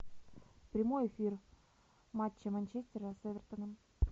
прямой эфир матча манчестера с эвертоном